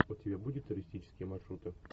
у тебя будет туристические маршруты